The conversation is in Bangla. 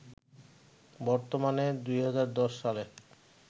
বর্তমানে, ২০১০ সালে